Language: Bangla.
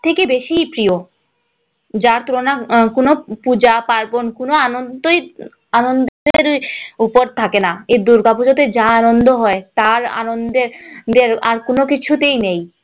সবথেকে বেশি প্রিয় যার তুলনা আহ কোনো পূজা পার্বন কোনো আনন্দ আনন্দের উপর থাকে না এই দুর্গাপূজা তে যা আনন্দ হয় তার আনন্দের আর কোনো কিছুতেই নেই